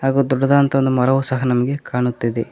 ಹಾಗೂ ದೊಡ್ಡದಾದಂತ ಮರವು ಸಹ ನಮಗೆ ಕಾಣುತ್ತದೆ.